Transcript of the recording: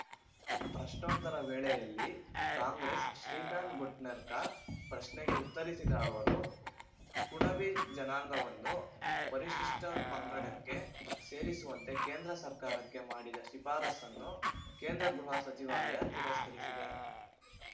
ಪ್ರಶ್ನೋತ್ತರ ವೇಳೆಯಲ್ಲಿ ಕಾಂಗ್ರೆಸ್‌ನ ಶ್ರೀಕಾಂತ್‌ ಘೋಟ್ನೆಕರ್‌ ಪ್ರಶ್ನೆಗೆ ಉತ್ತರಿಸಿದ ಅವರು ಕುಣಬಿ ಜನಾಂಗವನ್ನು ಪರಿಶಿಷ್ಟಪಂಗಡಕ್ಕೆ ಸೇರಿಸುವಂತೆ ಕೇಂದ್ರ ಸರ್ಕಾರಕ್ಕೆ ಮಾಡಿದ್ದ ಶಿಫಾರಸನ್ನು ಕೇಂದ್ರ ಗೃಹ ಸಚಿವಾಲಯ ತಿರಸ್ಕರಿಸಿದೆ